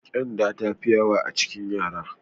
Ƙyanda ta fi yawa a cikin yara.